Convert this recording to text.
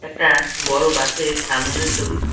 একটা বড় বাসের সামনের ছবি।